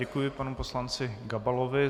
Děkuji panu poslanci Gabalovi.